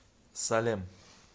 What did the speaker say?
салем